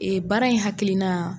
baara in hakilina